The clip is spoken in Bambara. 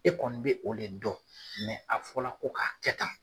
E kɔni bɛ o de dɔn a fɔ la ko k'a kɛ tan.